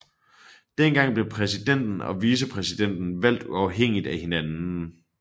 Dengang blev præsidenten og vicepræsidenten valgt uafhængigt af hinanden